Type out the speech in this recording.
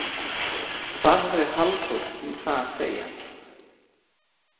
Hvað hafði Halldór um það að segja?